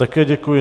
Také děkuji.